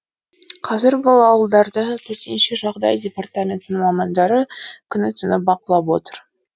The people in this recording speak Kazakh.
қазір бұл ауылдарды төтенше жағдай департаментінің мамандары күні түні бақылап отыр